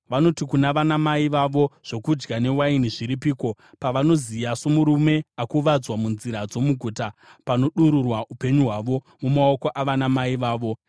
Vanoti kuna vanamai vavo, “Zvokudya newaini zviripiko?” pavanoziya somurume akuvadzwa munzira dzomuguta, panodururwa upenyu hwavo. Mumaoko avanamai vavo.